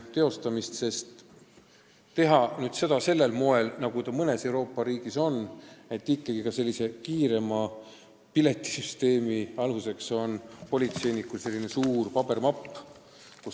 Pole mõtet teha seda samal moel, nagu see mõnes Euroopa riigis on, et ka sellise kiiremat menetlust võimaldava piletisüsteemi aluseks on politseiniku suur paberimapp.